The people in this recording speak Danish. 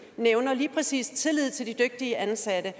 nævner lige præcis tillid til de dygtige ansatte